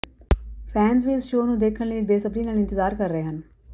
fans ਵੀ ਇਸ show ਨੂੰ ਦੇਖਣ ਲਈ ਬੇਸਬਰੀ ਨਾਲ ਇੰਤਜ਼ਾਰ ਕਰ ਰਹੇ ਹਨ